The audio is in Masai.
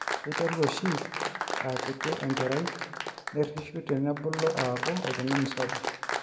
keiteru oshi aaa kiti enkerai nerishu tenebulu aaku oltungani sapuk